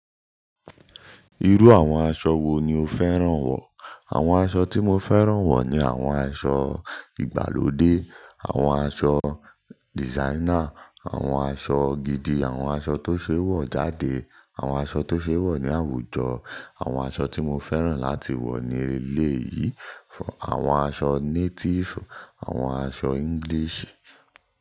Irú àwọn aṣọ wo ni o fẹ́ràn wọ̀? Àwọn aṣọ tí mo fẹ́ràn wọ̀ ni àwọn aṣọ ìgbàlódé, àwọn aṣọ designer, àwọn aṣọ gidi, àwọn aṣọ tó ṣeé wọ̀ jáde, àwọn aṣọ tó ṣeé wọ̀ ní àwùjọ. Àwọn aṣọ tí mo fẹ́ràn láti wọ̀ ní eléyìí, àwọn aṣọ native, àwọn aṣọ English.